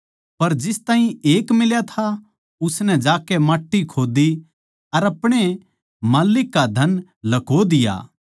पर जिस ताहीं एक मिल्या था उसनै जाकै माट्टी खोद्दी अर अपणे माल्लिक का धन लह्को दिया